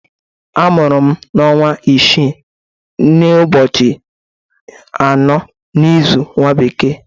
Amụru m n'ọnwa isiii n'ụbọchị anọ n'ịzụ nwa bekee.